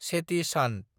चेति चान्द